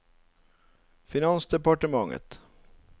finansdepartementet